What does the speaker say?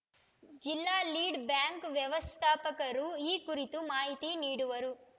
ಜಿಲ್ಲಾ lead bank ವ್ಯವಸ್ಥಾಪಕರು ಈ ಕುರಿತು ಮಾಹಿತಿ ನೀಡುವರು